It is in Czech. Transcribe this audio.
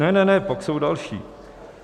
Ne, ne, ne, pak jsou další.